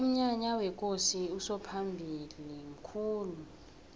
umnyanya wekosi usomphalili mkhulu